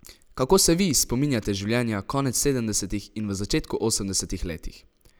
Kako se vi spominjate življenja konec sedemdesetih in v začetku osemdesetih letih?